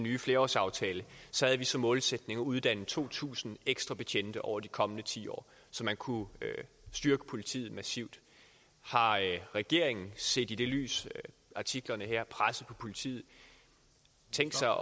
nye flerårsaftale havde vi som målsætning at uddanne to tusind ekstra betjente over de kommende ti år så man kunne styrke politiet massivt har regeringen set i lyset af artiklerne her og presset på politiet tænkt sig